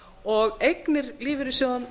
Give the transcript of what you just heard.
og eignir lífeyrissjóðanna